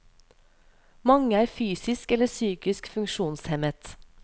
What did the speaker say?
Mange er fysisk eller psykisk funksjonshemmet.